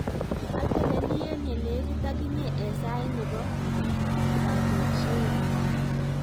Ateleli eng ye lekit akinye eng sait ne bo kagojinoi.